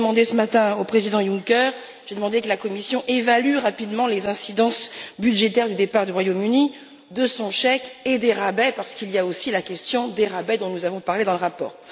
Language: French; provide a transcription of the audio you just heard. J'ai demandé ce matin au Président Juncker que la Commission évalue rapidement les incidences budgétaires du départ du Royaume-Uni, de son chèque et des rabais, parce qu'il y a aussi la question des rabais dont nous avons parlé dans le rapport.